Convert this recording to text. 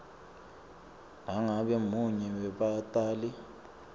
nangabe munye webatali